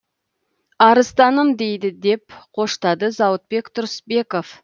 арыстаным дейді деп қоштады зауытбек тұрысбеков